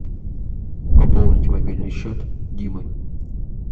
пополнить мобильный счет димы